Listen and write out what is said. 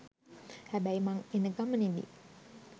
හැබැයි මං එනගමනෙදි